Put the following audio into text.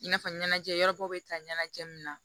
I n'a fɔ ɲɛnajɛ yɔrɔ dɔw bɛ taa ɲɛnajɛ min na